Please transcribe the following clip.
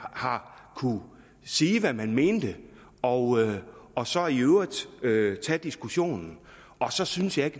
har kunnet sige hvad man mente og og så i øvrigt øvrigt tage diskussionen og så synes jeg